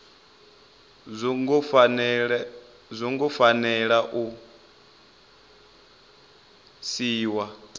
zwo ngo fanela u siiwa